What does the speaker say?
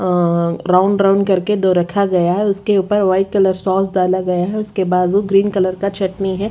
अ round round करके दो रखा गया है उसके ऊपर वाइट कलर सॉस डाला गया है उसके बाजू ग्रीन कलर का चटनी ह--